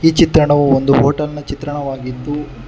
ಈ ಚಿತ್ರಣವು ಒಂದು ಹೋಟೆಲ್ ನ ಚಿತ್ರಣವಾಗಿದ್ದು--